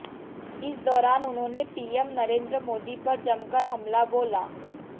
इस दौरान उन्होंने पीएम नरेंद्र मोदी पर जमकर हमला बोला